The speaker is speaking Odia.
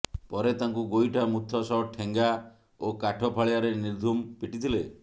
ପରେ ତାଙ୍କୁ ଗୋଇଠା ମୁଥ ସହ ଠେଙ୍ଗା ଓ କାଠ ଫାଳିଆରେ ନିର୍ଧୂମ ପିଟିଥିଲେ